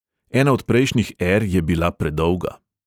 Ena od prejšnjih ȇr je bila predolga.